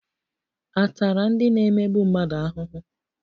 A tara ndị na-emegbu mmadụ ahụhụ?